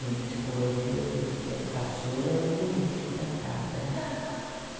Em psicologia dizem que a caçula é o político da casa, né.